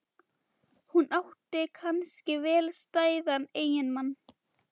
Hún átti kannski vel stæðan eiginmann.